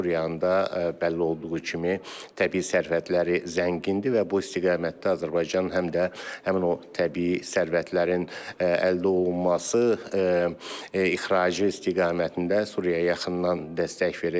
Suriyanın da bəlli olduğu kimi təbii sərvətləri zəngindir və bu istiqamətdə Azərbaycan həm də həmin o təbii sərvətlərin əldə olunması, ixracı istiqamətində Suriyaya yaxından dəstək verəcək.